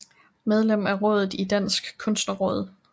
Medlem af rådet i Dansk Kunstnerråd